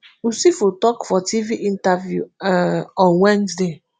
usifo tok for tv interview um on wednesday